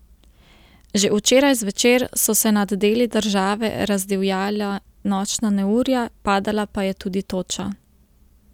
Že včeraj zvečer so se nad deli države razdivjala nočna neurja, padala pa je tudi toča.